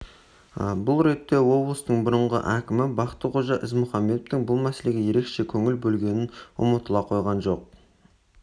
бұл ретте облыстың бұрынғы әкімі бақтықожа ізмұхамбетовтің бұл мәселеге ерекше көңіл бөлгені ұмытыла қойған жоқ